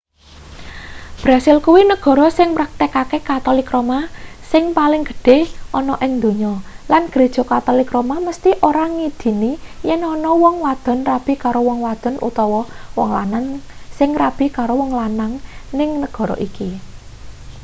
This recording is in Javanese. brasil kuwi negara sing mraktekake katolik roma sing paling gedhe ana ing donya lan gereja katolik roma mesthi ora ngidini yen ana wong wadon rabi karo wong wadon utawa wong lanang sing rabi karo wong lanang ning negara iki